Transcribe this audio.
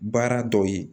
Baara dɔw ye